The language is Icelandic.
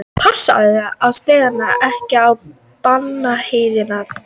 Passaðu þig að stíga ekki á bananahýðið þitt.